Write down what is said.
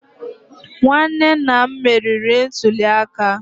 nwanne nna m meriri ntuli aka.